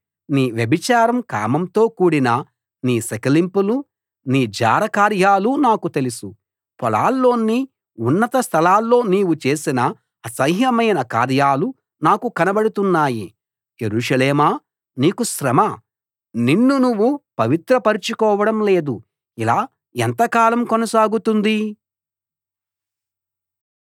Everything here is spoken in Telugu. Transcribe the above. నీ వ్యభిచారం కామంతో కూడిన నీ సకిలింపులు నీ జార కార్యాలు నాకు తెలుసు పొలాల్లోని ఉన్నత స్థలాల్లో నీవు చేసిన అసహ్యమైన కార్యాలు నాకు కనబడుతున్నాయి యెరూషలేమా నీకు శ్రమ నిన్ను నువ్వు పవిత్ర పరచుకోవడం లేదు ఇలా ఎంత కాలం కొనసాగుతుంది